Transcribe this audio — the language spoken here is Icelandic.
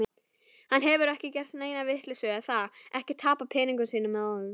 Hann hefur ekki gert neina vitleysu, er það, ekki tapað peningunum sínum aftur?